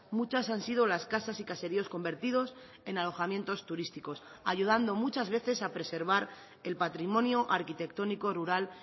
muchas han sido las casas y caseríos convertidos en alojamientos turísticos ayudando muchas veces a preservar el patrimonio arquitectónico rural